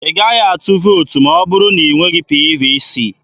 Ị gaghị atụ vootu ma ọ bụrụ na ị nweghị PVC.